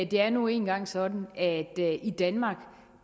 det er nu engang sådan at det i danmark